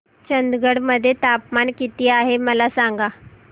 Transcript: चंदगड मध्ये तापमान किती आहे मला सांगा